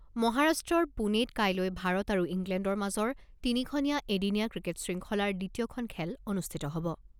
মহাৰাষ্ট্ৰৰ পুণেত কাইলৈ ভাৰত আৰু ইংলেণ্ডৰ মাজৰ তিনিখনীয়া এদিনীয়া ক্ৰিকেট শৃংখলাৰ দ্বিতীয়খন খেল অনুষ্ঠিত হ'ব।